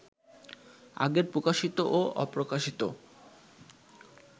আগের প্রকাশিত ও অপ্রকাশিত